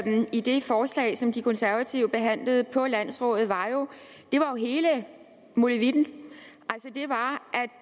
i det forslag som de konservative behandlede på landsrådet var jo hele molevitten